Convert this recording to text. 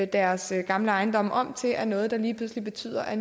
deres gamle ejendomme om til er noget der lige pludselig betyder at